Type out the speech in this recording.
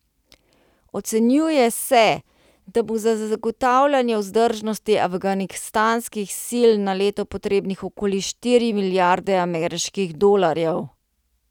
Ocenjuje se, da bo za zagotavljanje vzdržnosti afganistanskih sil na leto potrebnih okoli štiri milijarde ameriških dolarjev.